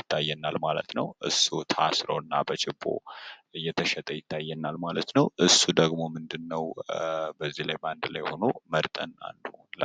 ይታየናል ማለት ነው። እሱ ታስሮ እና በችቦ እየተሸጠ ይታየናል ማለት ነው። እሱ ደግሞ ምንድን ነው በዚህ ላይ በአንድ ላይ ሁኖ መርጠን አንዱን ሁላ